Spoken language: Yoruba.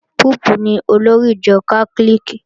Póòpù ni olórí ìjọ Kátólíìkì